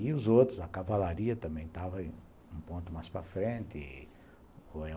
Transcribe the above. E os outros, a cavalaria também estava um ponto mais para frente.